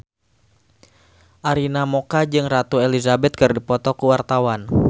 Arina Mocca jeung Ratu Elizabeth keur dipoto ku wartawan